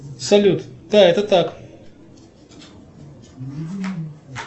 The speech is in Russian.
салют да это так